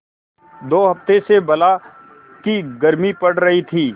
दो हफ्ते से बला की गर्मी पड़ रही थी